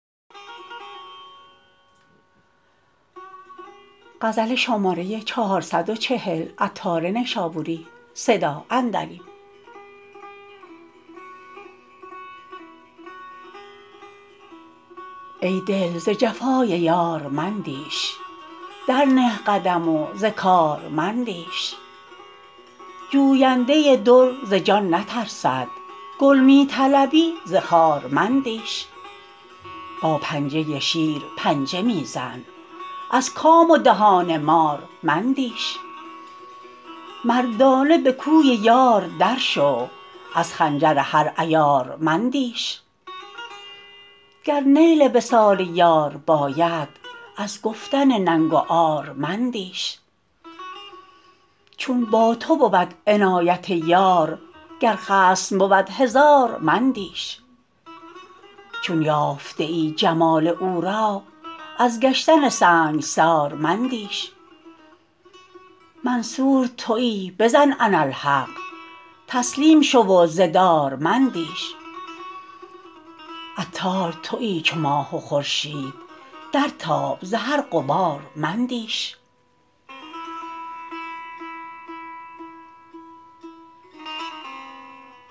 ای دل ز جفای یار مندیش در نه قدم و ز کار مندیش جوینده در ز جان نترسد گل می طلبی ز خار مندیش با پنجه شیر پنجه می زن از کام و دهان مار مندیش مردانه به کوی یار درشو از خنجر هر عیار مندیش گر نیل وصال یار باید از گفتن ننگ و عار مندیش چون با تو بود عنایت یار گر خصم بود هزار مندیش چون یافته ای جمال او را از گشتن سنگسار مندیش منصور تویی بزن اناالحق تسلیم شو و ز دار مندیش عطار تویی چو ماه و خورشید در تاب زهر غبار مندیش